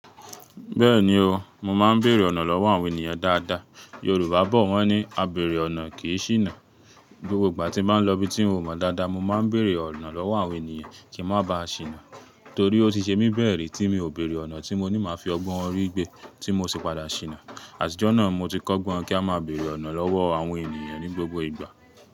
Bẹ́ẹ̀ni o, mo máa ń bèèrè ọ̀nà lọ́wọ́ àwọn ènìyàn dáadáa. Yorùbá bọ̀ wọ́n ní "A bèèrè ọ̀nà kì í ṣìnà." Gbogbo ìgbà tí mo ń lọ ibi tí ń ò mọ dáadáa, mo máa ń bèèrè ọ̀nà lọ́wọ́ àwọn ènìyàn kí ń má ba ṣìnà. Torí ó ti ṣe mí bẹ́ẹ̀ rí tí mi ò bèèrè ọ̀nà tí mo ní máa fi ọgbọ́n orí gbé tí mo sì padà ṣìnà. Àtijọ́ náà mo ti kọ́gbọ́n kí a máa bèèrè ọ̀nà lọ́wọ́ àwọn ènìyàn ní gbogbo ìgbà.